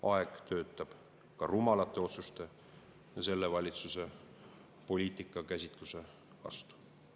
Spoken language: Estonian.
Aeg töötab ka rumalate otsuste ja selle valitsuse poliitika käsitluse vastu.